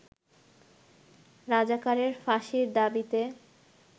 রাজাকারের ফাঁসির দাবিতে